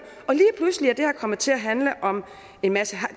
og til at handle om en masse